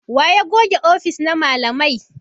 Waye ya goge ofis na malamai?